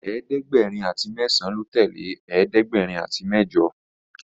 ẹ̀ẹ́dẹ̀gbẹ̀rin àti mesan ló tẹlẹ ẹ̀ẹ́dẹ̀gbẹ̀rin àti mẹjọ.